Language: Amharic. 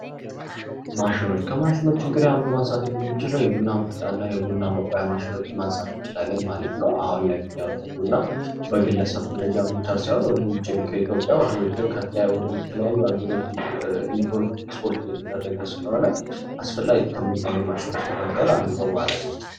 ማሽኖች ከማሽኖች እንግዲህ አንዱ ማንሳት የምንችለው የቡና መፍጫ እና የቡና መቁሊያ ማሽኖችን ማንሳት እችላለን ማለት ነው። አሁን ላይ ምክንያቱ ቡና በግለሰብ ደረጃ ብቻ ሳይሆን ወደ ውጪም ከኢትዮጵያ ወደ ውጪው ወደ ተለያዩ አግሮች ኤክስፖርት እየተደረገ ስለሆነ አስፈላጊ ከሚባሉ ማሽኖች መካካል አንዱ ነው ማለትነው።